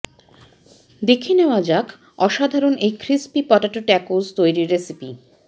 দেখে নেওয়া যাক অসাধারণ এই ক্রিস্পি পটাটো ট্যাকোস তৈরির রেসিপি